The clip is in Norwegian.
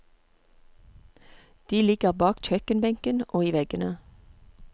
De ligger bak kjøkkenbenken og i veggene.